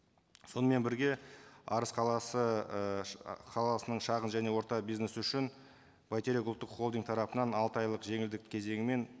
сонымен бірге арыс қаласы ы ы қаласының шағын және орта бизнесі үшін бәйтерек ұлттық холдинг тарапынан алты айлық жеңілдік кезеңімен